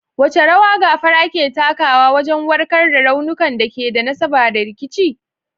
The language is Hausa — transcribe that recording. Wace rawa gafara ke takawa wajen warkar da raunukan da ke da nasaba da rikici?